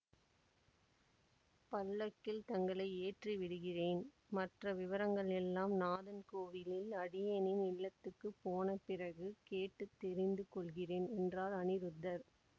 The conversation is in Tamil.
பல்லக்கில் தங்களை ஏற்றி விடுகிறேன் மற்ற விவரங்கள் எல்லாம் நாதன்கோவிலில் அடியேனின் இல்லத்துக்குப் போன பிறகு கேட்டு தெரிந்து கொள்கிறேன் என்றார் அநிருத்தர்